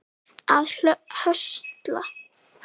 að höstla